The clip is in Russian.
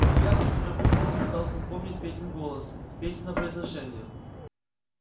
илья быстро-быстро попытался вспомнить петин голос петино произношение